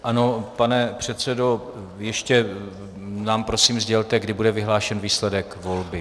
Ano, pane předsedo, ještě nám prosím sdělte, kdy bude vyhlášen výsledek volby.